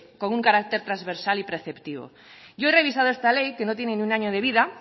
con un carácter transversal y preceptivo yo he revisado esta ley que no tiene ni un año de vida